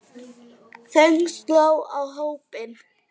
Þögn sló á hópinn.